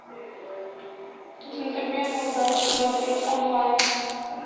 джентльмены удачи смотреть онлайн